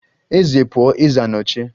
Eze pụọ, eze anọchie